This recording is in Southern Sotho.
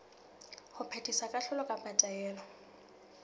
ho phethisa kahlolo kapa taelo